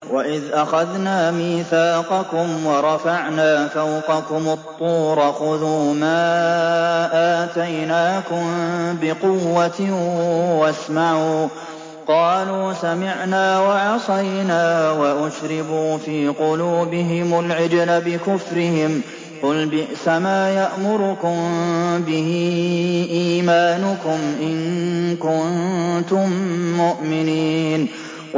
وَإِذْ أَخَذْنَا مِيثَاقَكُمْ وَرَفَعْنَا فَوْقَكُمُ الطُّورَ خُذُوا مَا آتَيْنَاكُم بِقُوَّةٍ وَاسْمَعُوا ۖ قَالُوا سَمِعْنَا وَعَصَيْنَا وَأُشْرِبُوا فِي قُلُوبِهِمُ الْعِجْلَ بِكُفْرِهِمْ ۚ قُلْ بِئْسَمَا يَأْمُرُكُم بِهِ إِيمَانُكُمْ إِن كُنتُم مُّؤْمِنِينَ